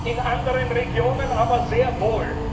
In anderen Regionen aber sehr wohl!